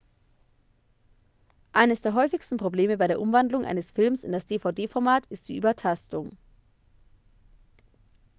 eines der häufigsten probleme bei der umwandlung eines films in das dvd-format ist die übertastung